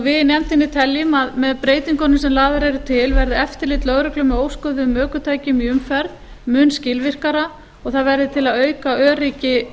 við í nefndinni teljum að með breytingunum sem lagðar eru til verði eftirlit lögreglu með óskoðuðum ökutækjum í umferð mun skilvirkara og að það verði til að auka öryggi